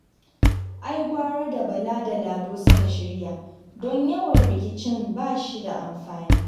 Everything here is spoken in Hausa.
Ai gwara da Bala da Lado suka shirya, don yawan rikicin ba shi da amfani